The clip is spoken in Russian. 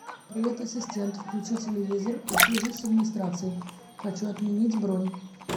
привет ассистент включи телевизор и свяжись с администрацией хочу отменить бронь